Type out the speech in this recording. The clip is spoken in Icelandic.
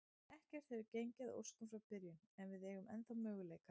Ekkert hefur gengið að óskum frá byrjun, en við eigum ennþá möguleika.